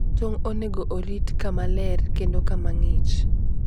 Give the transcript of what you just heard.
Tong' onego orit kama ler kendo kama ng'ich